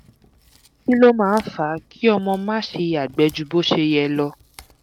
kí ló máa ń fa kí ọmọ máa ṣe yàgbẹh ju bó ṣe yẹ lọ?